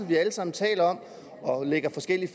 vi alle sammen taler om og lægger forskellige